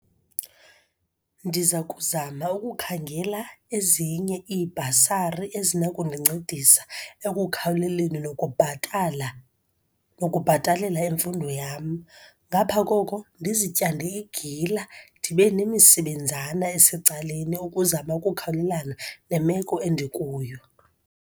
Ndiza kuzama ukukhangela ezinye iibhasari ezinakundincedisa ekukhawuleleni nokubhatala, nokubhatalela imfundo yam. Ngapha koko, ndizityande igila, ndibe nemisebenzana esecaleni, ukuzama ukukhawulelana nemeko endikuyo.